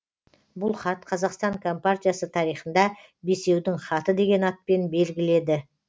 бұл хат қазақстан компартиясы тарихында бесеудің хаты деген атпен белгіледі